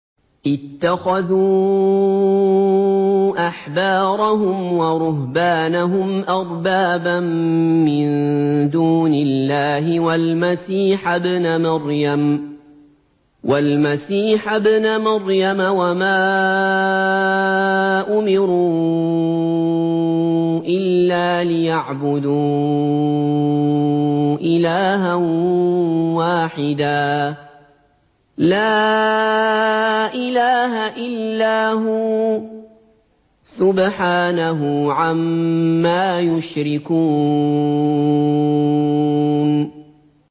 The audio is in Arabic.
اتَّخَذُوا أَحْبَارَهُمْ وَرُهْبَانَهُمْ أَرْبَابًا مِّن دُونِ اللَّهِ وَالْمَسِيحَ ابْنَ مَرْيَمَ وَمَا أُمِرُوا إِلَّا لِيَعْبُدُوا إِلَٰهًا وَاحِدًا ۖ لَّا إِلَٰهَ إِلَّا هُوَ ۚ سُبْحَانَهُ عَمَّا يُشْرِكُونَ